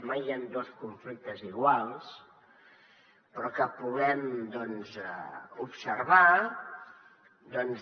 mai hi han dos conflictes iguals però que puguem observar doncs